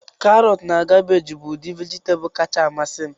Karọtu na kabeeji bụ udi vejitabulu kacha amasị m